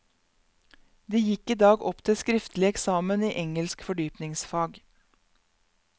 De gikk i dag opp til skriftlig eksamen i engelsk fordypningsfag.